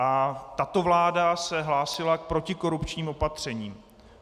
A tato vláda se hlásila k protikorupčním opatřením.